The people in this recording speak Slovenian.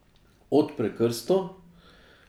Odpre krsto?